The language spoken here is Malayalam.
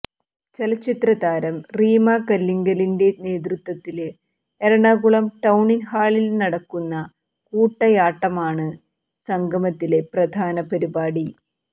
ചലച്ചിത്രതാരം റീമാ കല്ലിങ്കലിന്റെ നേതൃത്വത്തില് എറണാകുളം ടൌണ് ഹാളില് നടക്കുന്ന കൂട്ടയാട്ടമാണ് സംഗമത്തിലെ പ്രധാന പരിപാടി